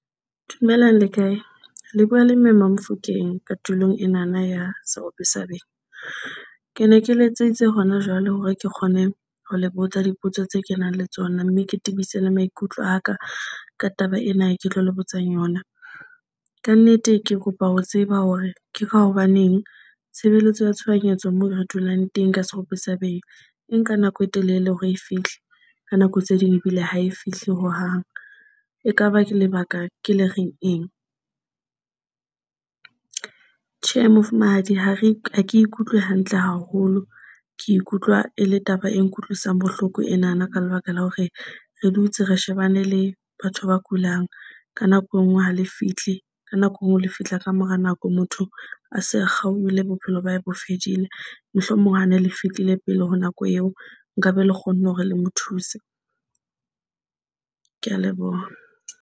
Dumelang le kae le bua le Mme Mamofokeng ka tulong enana ya Serope sa Benya. Ke ne ke letseditse hona jwale hore ke kgone ho le botsa dipotso tse ke nang le tsona, mme ke tebise le maikutlo a ka ka taba ena e, ke tlo lebotsa yona ka nnete. Ke kopa ho tseba hore ke ka hobaneng tshebeletso ya tshohanyetso moo re dulang teng ka Serope sa Benya e nka nako e telele hore e fihle ka nako tse ding ebile ha e fihle hohang. E kaba lebaka ke le reng eng? Tjhe, Mofumahadi ha ke ikutlwe hantle haholo ke ikutlwa e le taba e nkutlwisang bohloko enana ka lebaka la hore re dutse re shebane le batho ba kulang ka nako e nngwe ha le fihle ka nako e nngwe le fihla ka mora nako, motho a se a kgaohile, bophelo ba hae bo fedile. Mohlomong ha ne le fehlile pele ho nako eo, nka be le kgonne hore le mo thuse. Ke a leboha.